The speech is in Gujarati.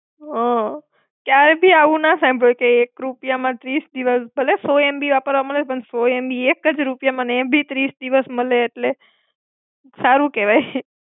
હમ ક્યારેએ ભી આવું ન સાંભળ્યું કે એક રૂપિયામાં ત્રીસ દિવસ ભલે સો MB વાપરવા મળે, પણ સો MB એકજ રૂપિયામાં ને એબી ત્રીસ દિવસ મળે એટલે સારું કેવાય.